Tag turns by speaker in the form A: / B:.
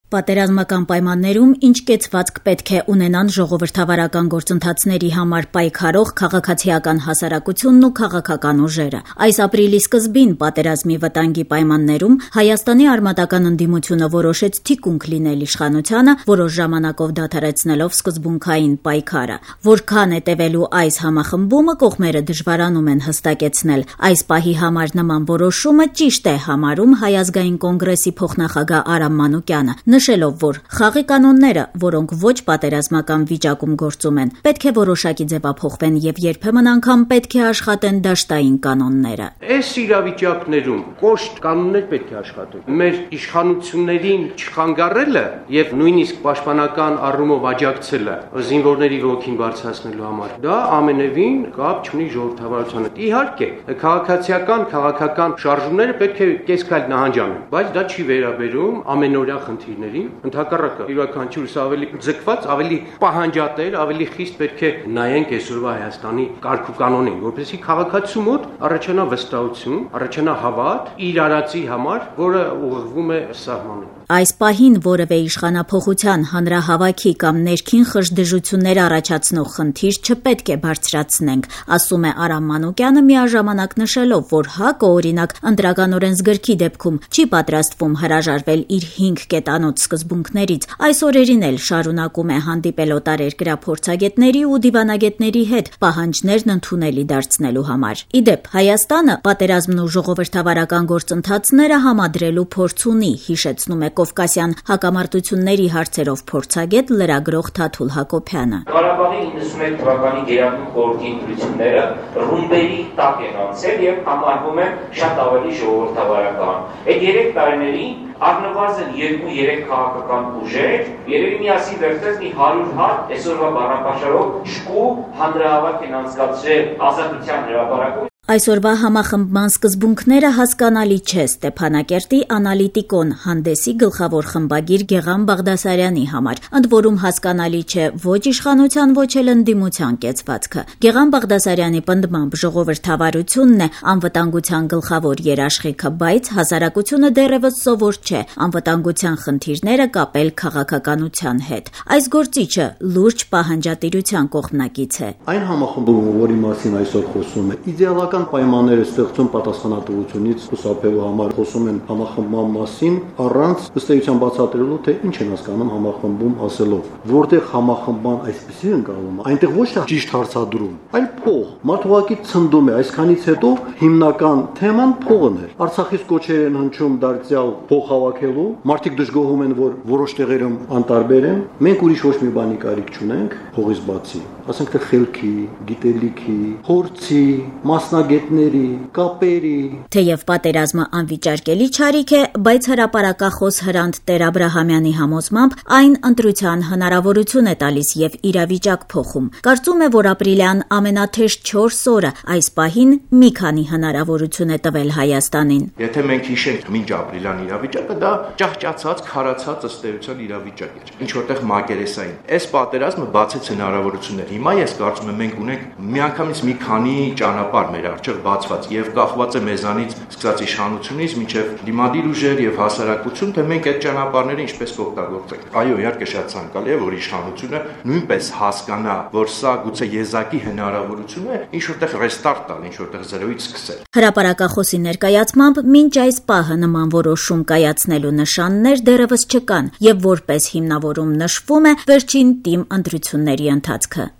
A: Պատերազմական պայմաններում ինչ կեցված պետք է ունենան ժողովրդավարական գործընթացների համար պայքարող քաղաքացիական հասարակությունն ու քաղաքական ուժերը: Այս ապրիլի սկզբին՝ պատերազմի վտանգի պայմաններում, Հայաստանի արմատական ընդդիմությունը որոշեց թիկունք լինել իշխանությանը՝ որոշ ժամանակով դադարեցնելով սկզբունքային պայքարը: Որքան է տեւելու այս համախմբումը կողմերը դժվարանում են հստակեցնել: Այս պահի համար նման որոշումը ճիշտ է համարում Հայ ազգային կոնգրեսի փոխնախագահ Արամ Մանուկյանը՝ նշելով, որ «խաղի կանոնները, որոնք ոչ պատերազմական վիճակում գործում են, պետք է որոշակի ձեւափոխվեն եւ երբեմն անգամ պետք է աշխատեն դաշտային կանները»:
B: «Այս իրավիճակներում կոշտ կանոններ պետք է աշխատեն: Մեր իշխանությունների չխանգարելը եւ նույնիսկ պաշտպանական առումով աջակցելը՝ զինվորների ոգին բարձրացնելու համար, դա ամենեւին կապ չունի ժողովրդավարության հետ: Իհարկե, քաղաքացիական, քաղաքական շարժումները պետք է կես քայլ նահանջ անեն, բայց դա չի վերաբերում ամենօրյա խնդիրներին: Ընդհակառակը՝ յուրաքանչյուրս ավելի ձգված, ավելի պահանջատեր, ավելի խիստ պետք է նայենք այսօրվա Հայաստանի կարգ ու կանոնին, որպեսզի քաղաքացու մոտ առաջանա վստահություն, առաջանա հավատ իր արածի համար, որն ուղղվում է սահմանին»:
A: «Այս պահին որեւէ իշխանափոխության, հանրահավաքի կամ ներքին խժդժություններ առաջացնող խնդիր չպետք է բարձրացնենք»,- ասում է Արամ Մանուկյանը՝ միաժամանակ նշելով, որ ՀԱԿ-ը, օրինակ ԸՕ-ի դեպքում, չի պատրաստվում հրաժարվել իր հինգ կետանոց սկզբունքներից: Այս օրերին էլ շարունակում է հանդիպել օտարերկրյա փորձագետների ու դիվանագետների հետ՝ պահաջներն ընդունելի դարձնելու համար: Ի դեպ, Հայաստանը պատերազմն ու ժողովրդավարական գործընթացները համադրելու փորձ ունի՝ հիշեցնում է կովկասյան հակամարտությունների հարցերով փորձագետ, լրագրող Թաթուլ Հակոբյանը:
B: «Օրինակ՝ Ղարաբաղի 1991 թվականի ԳԽ ընտրությունները ռումբերի տակ են անցել եւ համարվում են շատ ավելի ժողովրդավարական: Այդ երեք տարիներին առնվազն 2-3 քաղաքական ուժեր միասին վերցրած երեւի մի 100 հատ, այսօրվա բառապաշարով, «հուժկու» հանրահավաք ենմ անցկացրել Ազատության հրապարակում»:
A: Այսօրվա համախմբման սկզբունքները հասկանալի չէ Ստեփանակերտի «Անալիտիկոն» հանդեսի գլխավոր խմբնագիր Գեղամ Բաղդասարյանի համար: Ընդ որում՝ հասկանալի չէ ոչ իշխանության, ոչ էլ ընդդիմության կեցվածքը: Գեղամ Բաղդասարյանի պնդմամբ՝ ժողովրդավարությունն է անվտանգության գլխավոր երաշխիքը, բայց հասարակությունը դեռեւս սովոր չէ անվտանգության խնդիրները կապել քաղաքականության հետ: Այս գործիչը լուրջ պահանջատիրության կողմնակից է:
C: «Այն համախմբումը, որի մասին այսօր խոսվում է իդեալական պայմաններ է ստեղծում պատասխանատվությունից խուսափելու համար: Խոսում են համախմբման մասին, առանց բացատրելու, թե ինչ են հասկանում համախմբում ասելով: Որտեղ համախմբման այսպիսի դրսեւորում է, այնտեղ է ոչ թե ճիշտ հարցադրում, այլ՝ փող: Մարդ ուղղակի «ցնդում» է: Այսքանից հետո հիմնական թեման փողն էր: Արցախից դրձյալ կոչեր էր արվում փող հավաքելու, մարդիկ դժգոհում էին, որ որոշ տեղերում անտարբեր էին: մենք ուրի ոչ մի բանի կարիք չունե՞նք փողից բացի: Ասենք թե խելքի, գիտելիքի, փորձի, մասնագետնմերի, կապերի»:
A: Թեեւ պատերազմը անվիճարկելի չարիք է, բայց հրապարակախոս Հրանտ Տեր- Աբրահամյանի համոզմամբ՝ այն ընտրության հնարավորություն է տալիս եւ իրավիճակ փոխում: Կարծում է, որ ապրիլյան ամենաթեժ չորս օրը այս պահին մի քանի հնարավորություն է տվել Հայաստանին: «Եթե մենք հիշենք
D: մինչապրիլյան իրավիճակը, դա ըստ էության, ճահճացած, քարացած իրավիճակ էր, ինչ որ տեղ՝ մակերեսային: Այս պատերազմը բացեց հնարավորություններ, հիմա ես կարծում եմ, մենք ունենք միանգամից մի քանի ճանապարհ մեր առջեւ բացված եւ կախված է մեզանից՝ սկսած իշխանությունից մինչեւ ընդդիմադիր ուժեր եւ հասարակություն, թե մենք այդ ճանապարհներն ինչպես կօգտագործենք: Այո, իհարկե, շատ ցանկալի է, որ իշխանությունը նույնպես հասկանա, որ սա գուցե եզակի հնարավորություն է ինչ որ տեղ «ռեստարտ» տալ, ինչ որ տեղ զրոյից սկսել»:
A: Հրապարակախոսի ներկայացմամբ՝ մինչ այս պահը նման որոշում կայացնելու նշաններ դեռեւս չկան եւ որպես հիմնավորում նշվում է վերջին ՏԻՄ ընտրությունների ընթացքը: